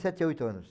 Sete, oito anos.